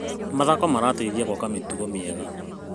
Mathako marateithia gwaka mĩtugo mĩega.